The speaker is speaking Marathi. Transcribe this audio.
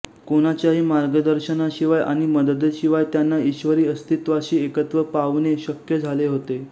कोणाच्याही मार्गदर्शनाशिवाय आणि मदतीशिवाय त्यांना ईश्वरी अस्तित्वाशी एकत्व पावणे शक्य झाले होते